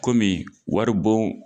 Kɔmi wari bon